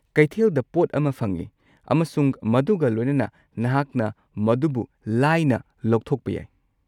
ꯀꯩꯊꯦꯜꯗ ꯄꯣꯠ ꯑꯃ ꯐꯪꯏ, ꯑꯃꯁꯨꯡ ꯃꯗꯨꯒ ꯂꯣꯏꯅꯅ ꯅꯍꯥꯛꯅ ꯃꯗꯨꯕꯨ ꯂꯥꯏꯅ ꯂꯧꯊꯣꯛꯄ ꯌꯥꯏ꯫